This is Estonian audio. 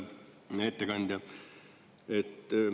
Hea ettekandja!